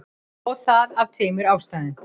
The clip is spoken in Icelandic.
Og það af tveimur ástæðum.